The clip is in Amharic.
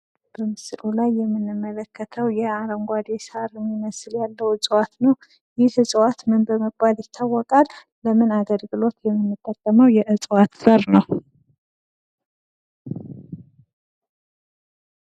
በምስሉ ላይ የምንመለከተው የአረንጉአዴ ሳር የሚመስል ያለው እፅዋት ነው :: ይህ እፅዋት ምን በመባል ይታወቃል? በምን አገልግሎት የምንጠቀመው የፅዋት ዘር ነው?